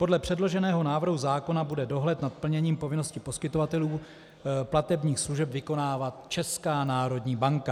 Podle předloženého návrhu zákona bude dohled nad plněním povinností poskytovatelů platebních služeb vykonávat Česká národní banka.